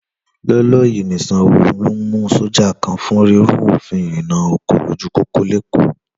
Lọ́ọ́lọ́ọ́ yìí ni Sanwó Olú mú sọ́jà kan fún rírú òfin ìrìnna ọkọ̀ lójú pópó lÉkòó.